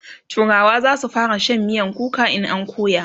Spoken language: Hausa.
turawa zasu fara Shan miyan kuka in an koya masu